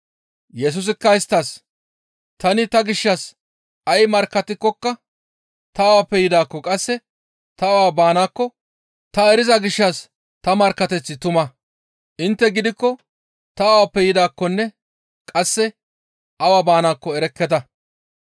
Yesusikka isttas, «Tani ta gishshas ay markkattikokka ta awappe yidaakko qasse tani awa baanaakko ta eriza gishshas ta markkateththi tuma. Intte gidikko ta awappe yidaakkonne qasse awa baanaakko erekketa.